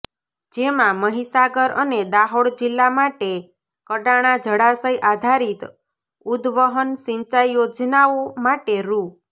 જેમાં મહીસાગર અને દાહોદ જિલ્લા માટે કડાણા જળાશય આધારીત ઉદ્દવહન સિંચાઇ યોજનાઓ માટે રૂ